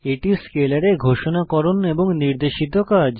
এটি স্কেলারে ঘোষণাকরণ এবং নির্দেশিত কাজ